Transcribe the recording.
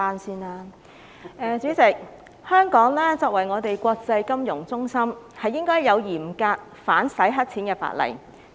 主席，香港作為國際金融中心，應該訂有嚴格的反洗黑錢法例。